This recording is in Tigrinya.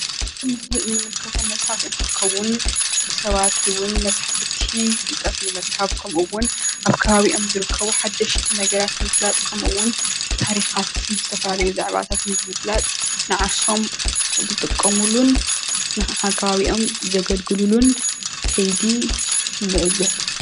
እዚ ምስሊ እንምልከቶ መፃሕፍቲ እንትከውን ሰባት እውን መፃሕፍቲ ፍልጠት ንምርካብ ከምኡውን ኣብ ከባቢኦም ዝርከቡ ሓደሽቲ ነገራት ንምፍላጥ ከምኡውን ታሪካት ዝተፈላለዩ ዛዕባታትን ንምፍላጥ ንዓርሶም ዝጥቀምሉን ንከባቢኦም ዘገልግሉልን ከይዲ ንዕዘብ፡፡